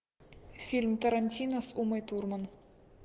фильм тарантино с умой турман